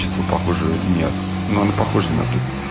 что похоже нет но она похожа на ту